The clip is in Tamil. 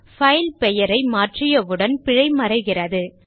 பைல் பெயரை மாற்றியவுடன் பிழை மறைகிறது